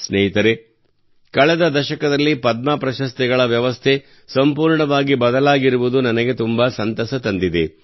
ಸ್ನೇಹಿತರೇ ಕಳೆದ ದಶಕದಲ್ಲಿ ಪದ್ಮ ಪ್ರಶಸ್ತಿಗಳ ವ್ಯವಸ್ಥೆ ಸಂಪೂರ್ಣವಾಗಿ ಬದಲಾಗಿರುವುದು ನನಗೆ ತುಂಬಾ ಸಂತಸ ತಂದಿದೆ